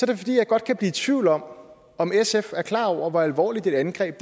det fordi jeg godt kan blive tvivl om om sf er klar over hvor alvorligt et angreb